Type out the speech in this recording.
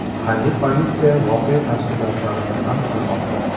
Mahalliy politsiya voqea tafsilotlarini aniqlamoqda.